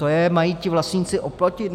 To je mají ti vlastníci oplotit?